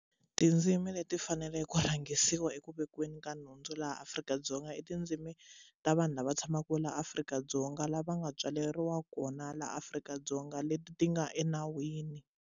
Tindzimi leti faneleke ku rhangisiwa eku vekeni ka nhundzu laha Afrika-Dzonga i tindzimi ta vanhu lava tshamaka va laha Afrika-Dzonga lava nga tswaleriwa kona laha Afrika-Dzonga leti ti nga enawini.